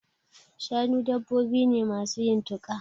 Shanu dabbobi ne masu yin tuƙa.